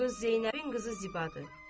Bu qız Zeynəbin qızı Zibadır.